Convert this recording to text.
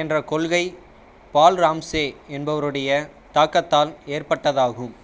என்ற கொள்கை Paul Ramsay என்பவருடைய தாக்கத்தால் ஏற்பட்டதாகும்